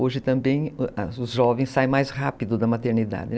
Hoje também os jovens saem mais rápido da maternidade, né?